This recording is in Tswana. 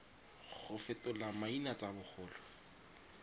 go fetola maina tsa bagolo